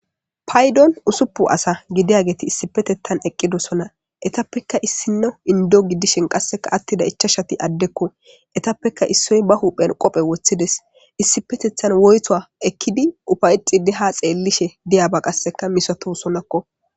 Paydon usupun asa gidiyageti issipetethan eqqidosona etappekka issinno indo gidishen qasseka attida ichashati addekko etappeka issoy ba huphen qophe woththides issipetethan woytowa ekkidi ufaycidi ha xeellishe diyaba qasseka misato sonakko